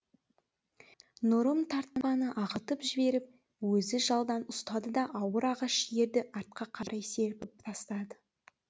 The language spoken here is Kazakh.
нұрым тартпаны ағытып жіберіп өзі жалдан ұстады да ауыр ағаш ерді артқа қарай серпіп тастады